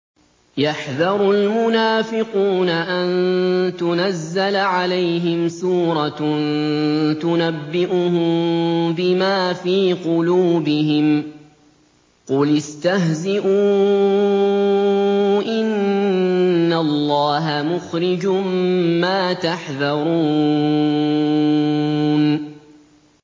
يَحْذَرُ الْمُنَافِقُونَ أَن تُنَزَّلَ عَلَيْهِمْ سُورَةٌ تُنَبِّئُهُم بِمَا فِي قُلُوبِهِمْ ۚ قُلِ اسْتَهْزِئُوا إِنَّ اللَّهَ مُخْرِجٌ مَّا تَحْذَرُونَ